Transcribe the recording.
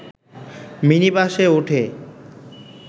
মিনিবাসে উঠে